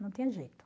Não tinha jeito.